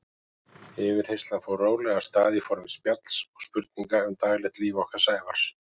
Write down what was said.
Yfirheyrslan fór rólega af stað í formi spjalls og spurninga um daglegt líf okkar Sævars.